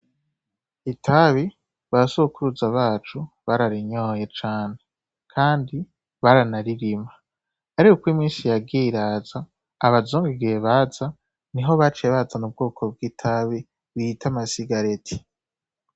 Itabi ba sokuruza bacu bararinyoye cane Kandi baranaririma, Ariko Kandi iko iminsi yagiye iraza ,abazungu igihe baza niho baciye bazana ubwoko bw'itabi bita amasigareti.